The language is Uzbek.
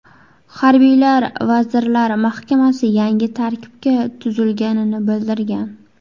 Harbiylar Vazirlar Mahkamasi yangi tarkibda tuzilganini bildirgan .